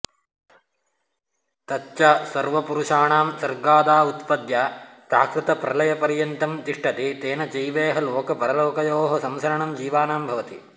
तच्च सर्वपुरुषाणां सर्गादावुत्पद्य प्राकृतप्रलयपर्यन्तं तिष्ठति तेन चैवेह लोकपरलोकयोः संसरणं जीवानां भवति